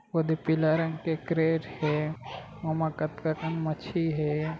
ओ दे पीला रंग के क्रेज है ओ मे कतका कन मच्छी हे।